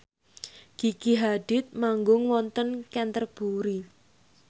Gigi Hadid manggung wonten Canterbury